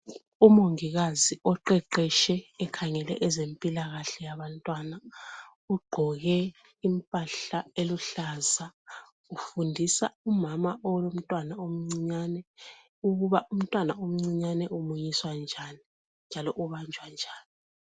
Umongikazi oqheqhetshe ekhangele bezempilakahle yabantwana ,uqgoke impahla eluhlaza ufundisa umama olomntwana omncinyane ukuthi umntwana omcinyane umunyiswa njani njalo ubanjwa njani.